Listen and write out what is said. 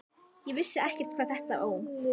Ég vissi ekkert hvað þetta Ó!